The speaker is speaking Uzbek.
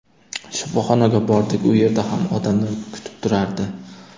Shifoxonaga bordik, u yerda ham odamlar kutib turardi.